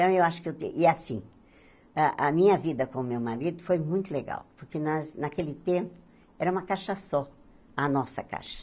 Então, eu acho que eu ten... E, assim, a a minha vida com o meu marido foi muito legal, porque nós, naquele tempo, era uma caixa só, a nossa caixa.